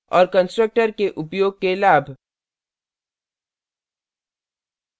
और constructor के उपयोग के लाभ